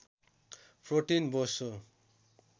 protein बोसो